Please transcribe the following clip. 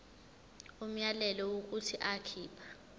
umyalelo wokuthi akhipha